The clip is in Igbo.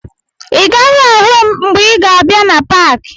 Ị gaghị ahụ m mgbe ị ga-abịa na paakị